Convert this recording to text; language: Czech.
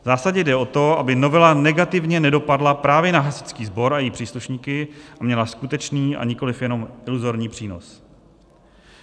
V zásadě jde o to, aby novela negativně nedopadla právě na hasičský sbor a jeho příslušníky a měla skutečný, a nikoliv jenom iluzorní přínos.